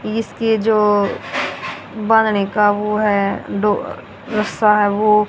इसके जो बनाने का वो है डो रस्सा है वो--